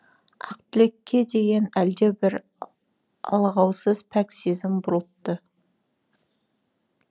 ақтілекке деген әлдебір алғаусыз пәк сезім бұрылтты